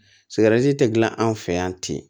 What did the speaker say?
tɛ gilan anw fɛ yan ten